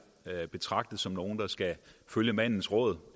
betragtet som nogle der skal følge mandens råd